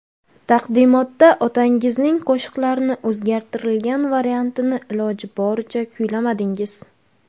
Taqdimotda otangizning qo‘shiqlarini o‘zgartirilgan variantini iloji boricha kuylamadingiz.